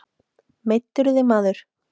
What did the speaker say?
Meiddirðu þig maður?